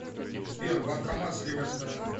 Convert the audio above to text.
сбер банкомат с левой стороны